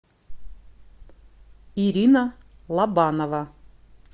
ирина лобанова